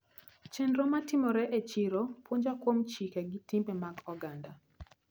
Chenro matimore e chiro puonja kuom chike gi timbe mag oganda.